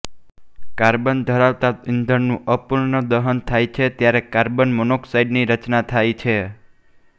carbon ધરાવતા ઇંધણનું અપૂર્ણ દહન થાય છે ત્યારે કાર્બન મોનોક્સાઇડની રચના થાય છે